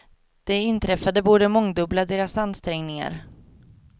Det inträffade borde mångdubbla deras ansträngningar.